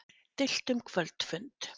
Deilt um kvöldfund